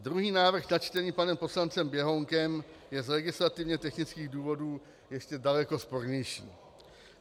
Druhý návrh, načtený panem poslancem Běhounkem, je z legislativně technických důvodů ještě daleko spornější.